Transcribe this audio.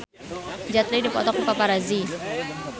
Jet Li dipoto ku paparazi